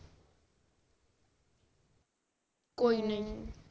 ਕੋਈ ਨੀ ਜੀ